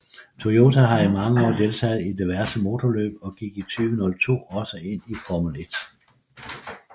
Toyota har i mange år deltaget i diverse motorløb og gik i 2002 også ind i Formel 1